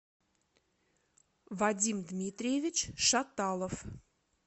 вадим дмитриевич шаталов